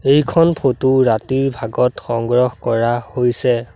এইখন ফটো ৰাতিৰ ভাগত সংগ্ৰহ কৰা হৈছে।